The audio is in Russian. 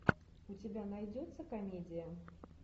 у тебя найдется комедия